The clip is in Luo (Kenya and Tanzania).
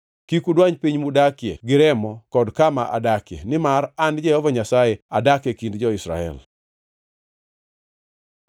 Kik udwany piny mudakie gi remo kod kama adakie, nimar an, Jehova Nyasaye, adak e kind jo-Israel.’ ”